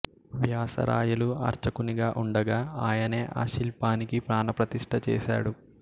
వ్యాసరాయలు అర్చకునిగా ఉండగా ఆయనే ఆ శిల్పానికి ప్రాణప్రతిష్ఠ చేశాడు